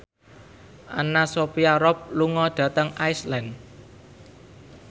Anna Sophia Robb lunga dhateng Iceland